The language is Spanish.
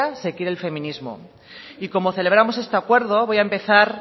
se quiere el feminismo y como celebramos este acuerdo voy a empezar